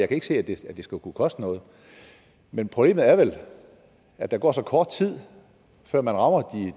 kan se at det skulle kunne koste noget men problemet er vel at der går så kort tid før man rammer